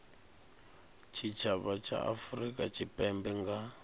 tshitshavha tsha afurika tshipembe nga